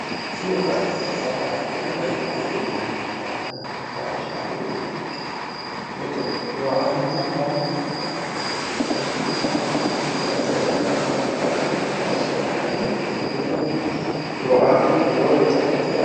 tini farcino farcidhano gara lowo gari farcubahi hedhanniani lawishsha adhinummoha ikkiro mite yohaanote albaanni marre ka'netinni ewellichi an I afann tee tene yannara orri loosinnn kane kulleenna yoaano yoo yitannote yaate